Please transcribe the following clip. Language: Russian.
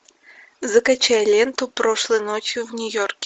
закачай ленту прошлой ночью в нью йорке